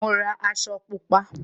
Mo ra aṣọ Pupa